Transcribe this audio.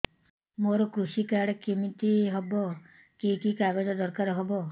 ମୋର କୃଷି କାର୍ଡ କିମିତି ହବ କି କି କାଗଜ ଦରକାର ହବ